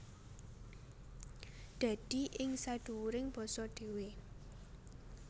Dadi ing sadhuwuring basa dhéwé